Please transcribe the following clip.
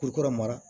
Kuru mara